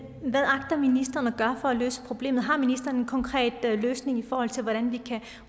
hvad agter ministeren at gøre for at løse problemet har ministeren en konkret løsning i forhold til hvordan vi kan